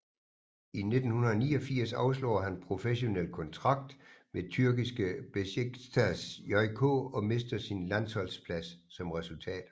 I 1989 afslår han professionel kontrakt med tyrkiske Beşiktaş JK og mister sin landsholsplads som resultat